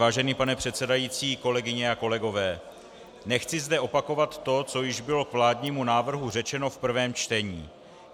Vážený pane předsedající, kolegyně a kolegové, nechci zde opakovat to, co již bylo k vládnímu návrhu řečeno v prvém čtení.